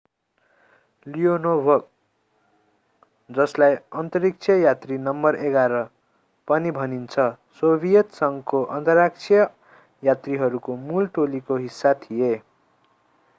Leonov जसलाई अन्तरिक्ष यात्री नम्बर 11 पनि भनिन्छ सोभियत संघको अन्तरिक्ष यात्रीहरूको मूल टोलीको हिस्सा थिए।